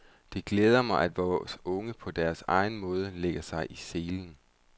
Det glæder mig, at vore unge på deres egen måde lægger sig i selen.